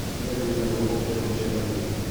Nĩ andũ aigana mokire mũcemanio?